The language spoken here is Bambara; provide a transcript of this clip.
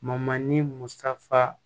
musa